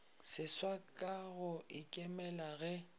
seswa ka go ikemela ge